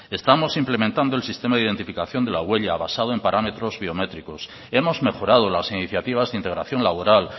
estamos implementando el sistema de identificación de la huella basado en parámetros biométricos hemos mejorado las iniciativas de integración laboral